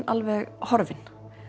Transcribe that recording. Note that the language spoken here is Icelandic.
alveg horfin